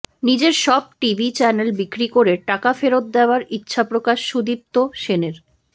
নিজের সব TV channel বিক্রি করে টাকা ফেরত দেওয়ার ইচ্ছাপ্রকাশ সুদীপ্ত সেনের